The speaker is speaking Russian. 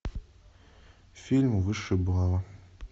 фильм вышибала